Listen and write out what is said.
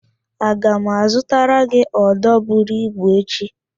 Aga m azụtara gị ódō buru ibu echi